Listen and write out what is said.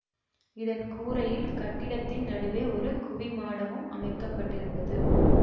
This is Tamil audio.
இதன் கூரையில் கட்டிடத்தின் நடுவே ஒரு குவிமாடமும் அமைக்க பட்டிருந்தது